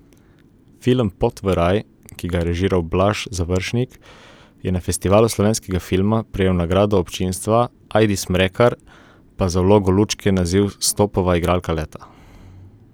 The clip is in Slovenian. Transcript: Film Pot v raj, ki ga je režiral Blaž Završnik, je na Festivalu slovenskega filma prejel nagrado občinstva, Ajdi Smrekar pa za vlogo Lučke naziv Stopova igralka leta.